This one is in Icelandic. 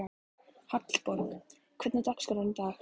Hallborg, hvernig er dagskráin í dag?